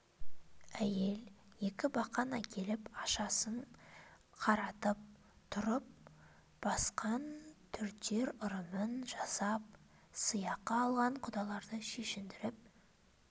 әйел екі бақан әкеліп ашасын қаратып тұрып бақан түртер ырымын жасап сыйақы алған құдаларды шешіндіріп